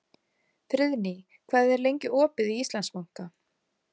Friðný, hvað er lengi opið í Íslandsbanka?